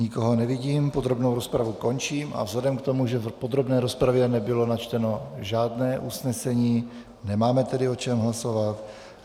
Nikoho nevidím, podrobnou rozpravu končím a vzhledem k tomu, že v podrobné rozpravě nebylo načteno žádné usnesení, nemáme tedy o čem hlasovat.